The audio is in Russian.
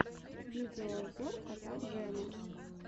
видеообзор кота джема